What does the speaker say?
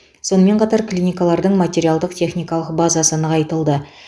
сонымен қатар клиникалардың материалдық техникалық базасы нығайтылды